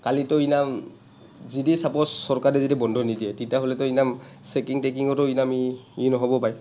কালিটো ইনাম, যদি suppose চৰকাৰে যদি বন্ধ নিদিয়ে, তেতিয়াহ’লেটো ইমান checking তেকিঙো টো ইমান ই নহ’বও পাৰে।